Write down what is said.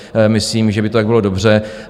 Myslím, že by to tak bylo dobře.